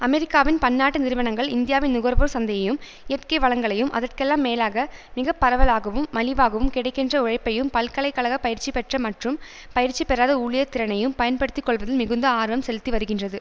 அமெரிக்காவின் பன்னாட்டு நிறுவனங்கள் இந்தியாவின் நுகர்வோர் சந்தையையும் இயற்கை வளங்களையும் அதற்கெல்லாம் மேலாக மிகப்பரவலாகவும் மலிவாகவும் கிடைக்கின்ற உழைப்பையும் பல்கலை கழக பயிற்சிபெற்ற மற்றும் பயிற்சி பெறாத ஊழியர் திறனையும் பயன்படுத்தி கொள்வதில் மிகுந்த ஆர்வம் செலுத்திவருகின்றது